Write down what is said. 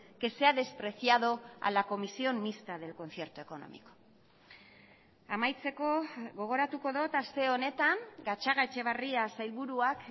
que se ha despreciado a la comisión mixta del concierto económico amaitzeko gogoratuko dut aste honetan gatzagaetxebarria sailburuak